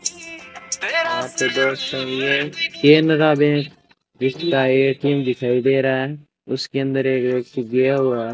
Canara bank जिसका ATM दिखाई दे रहा है उसके अंदर एक व्यक्ति गया हुआ है।